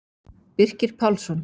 Birkir Pálsson